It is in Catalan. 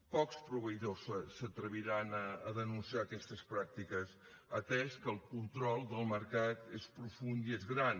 pocs proveïdors s’atreviran a denunciar aquestes pràctiques atès que el control del mercat és profund i és gran